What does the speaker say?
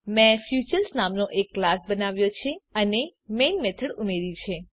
મેં ફીચર્સ નામનો એક ક્લાસ બનાવ્યો છે અને મેઈન મેથડ ઉમેરી છે